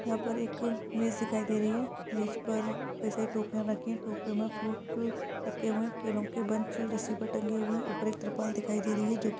यहाँ पर एक मेज दिखाई दे रही है। मेज पर कई सारी टोकरियाँ रखी है। टोकरियों में फ्रूट रखे हुए है केलों के बंच रस्सी पर टंगे हुए है। ऊपर एक तिरपाल दिखाई दे रही है जो कि --